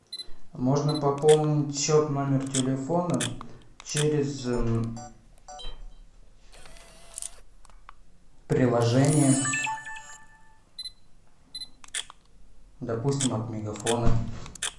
можно пополнить счет номер телефона через приложение допустим от мегафона